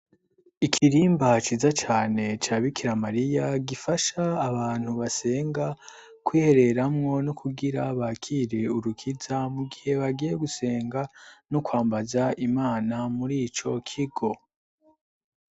Ikirimba ciza cane ca Bikira Mariya gifasha abantu basenga kwihereramwo no kugira bakire urukiza mu gihe bagiye gusenga, no kwambaza imana muri ico kigo.